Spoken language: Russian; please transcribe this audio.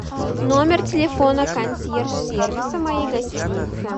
номер телефона консьерж сервиса моей гостиницы